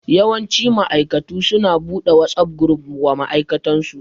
Yawanci ma'aikatu su na buɗe WhatsApp gruf wa ma'aikatansu